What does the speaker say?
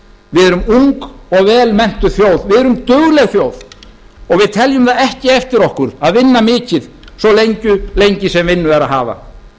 við erum ung og velmenntuð þjóð við erum dugleg þjóð og við teljum það ekki eftir okkur að vinna mikið svo lengi sem vinnu er að hafa